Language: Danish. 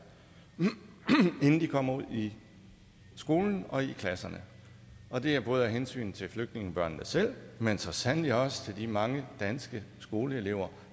inden de kommer ud i skolen og i klasserne og det er både af hensyn til flygtningebørnene selv men så sandelig også til de mange danske skoleelever